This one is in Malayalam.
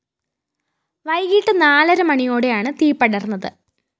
വൈകീട്ട് നാലരമണിയോടെയാണ് തീ പടര്‍ന്നത്